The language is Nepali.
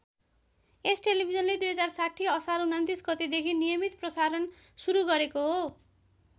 यस टेलिभिजनले २०६० असार २९ गतेदेखि नियमित प्रसारण सुरू गरेको हो।